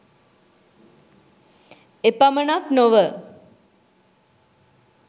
එපමණක් නො ව